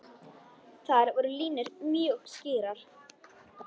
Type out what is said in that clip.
Þar voru línur mjög skýrar.